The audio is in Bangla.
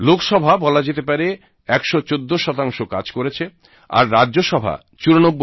লোকসভা বলা যেতে পারে 114 কাজ করেছে আর রাজ্যসভা 94